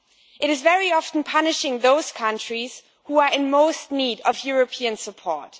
It is very often punishing those countries who are in most need of European support.